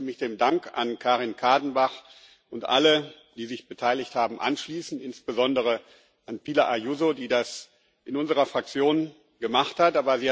Ich möchte mich dem Dank an Karin Kadenbach und an alle, die sich beteiligt haben, anschließen, insbesondere an Pilar Ayuso, die das in unserer Fraktion gemacht hat.